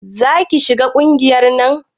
Za ki shiga ƙungiyar nan?